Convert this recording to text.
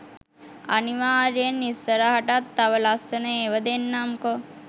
අනිවාර්යයෙන් ඉස්සරහටත් තව ලස්සන ඒව දෙන්නම්කෝ.